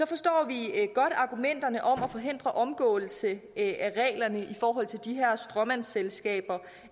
forstår vi godt argumenterne om at forhindre omgåelse af reglerne i forhold til de her stråmandsselskaber